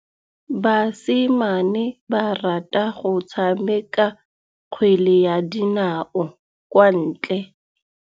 Basimane ba rata go tshameka kgwele ya dinaô kwa ntle.